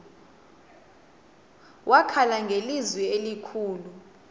wakhala ngelizwi elikhulu